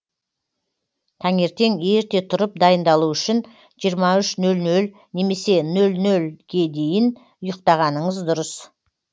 таңертең ерте тұрып дайындалу үшін жиырма үш нөл нөл немесе нөл нөлге дейін ұйықтағаныңыз дұрыс